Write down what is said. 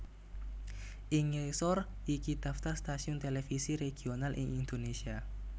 Ing ngisor iki daftar stasiun televisi regional ing Indonésia